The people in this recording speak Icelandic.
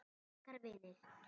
Ykkar vinir.